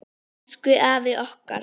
Elsku afi okkar.